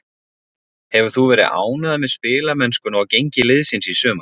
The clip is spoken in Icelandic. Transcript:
Hefur þú verið ánægður með spilamennskuna og gengi liðsins í sumar?